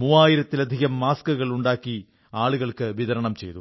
മൂവായിരത്തിലധികം മാസ്കുകൾ ഉണ്ടാക്കി ആളുകൾക്ക് വിതരണം ചെയ്തു